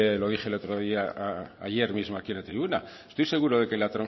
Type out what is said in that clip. lo dije el otro día ayer mismo aquí en la tribuna estoy seguro de que la